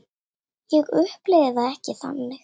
Ég upplifi það ekki þannig.